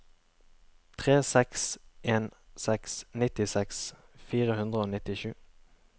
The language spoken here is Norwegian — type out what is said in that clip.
tre seks en seks nittiseks fire hundre og nittisju